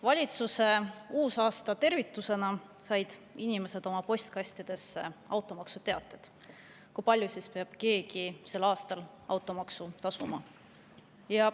Valitsuse uusaastatervitusena said inimesed oma postkastidesse teated, kui palju peab keegi sel aastal automaksu tasuma.